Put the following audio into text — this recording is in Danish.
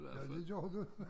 Ja det gør du